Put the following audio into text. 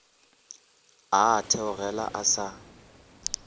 a a theogela a sa